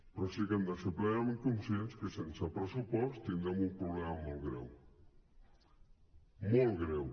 però sí que hem de ser plenament conscients que sense pressupost tindrem un problema molt greu molt greu